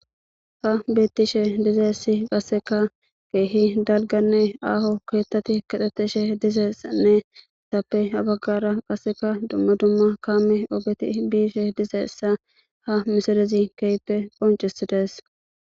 ha bettishe dizessi qasseka keehi dalganne aaho keettati kaxetishe dizeeanne tappe habaggara qasseka dumma dumma kaame ogeti biishe dizessa ha misadezi keyppe qoncisi dees